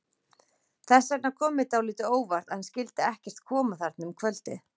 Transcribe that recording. Þess vegna kom mér dálítið á óvart að hann skyldi ekkert koma þarna um kvöldið.